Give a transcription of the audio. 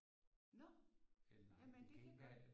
Nå jamen det kan godt